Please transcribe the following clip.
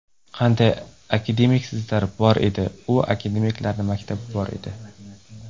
Qanday akademiklarimiz bor edi, u akademiklarning maktabi bor edi.